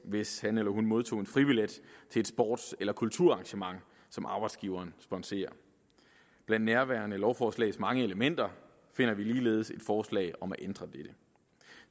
hvis han eller hun modtog en fribillet til et sports eller kulturarrangement som arbejdsgiveren sponserer blandt nærværende lovforslags mange elementer finder vi ligeledes et forslag om at ændre dette